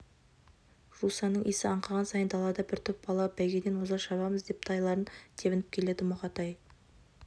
жусанның иісі аңқыған сайын далада бір топ бала бәйгеден оза шабамыз деп тайларын тебініп келеді мұқатай